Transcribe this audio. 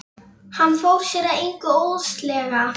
Hann fór sér að engu óðslega.